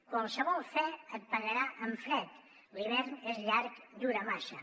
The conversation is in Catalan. qualsevol fe et pagarà amb fred i l’hivern és llarg dura massa